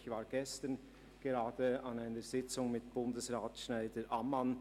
Ich war gerade gestern an einer Sitzung mit Bundesrat SchneiderAmmann.